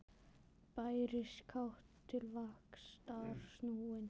Bærist kát til vaxtar snúin.